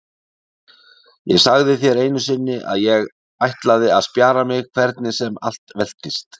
Ég sagði þér einu sinni að ég ætlaði að spjara mig hvernig sem allt veltist.